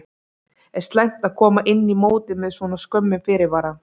Er slæmt að koma inn í mótið með svona skömmum fyrirvara?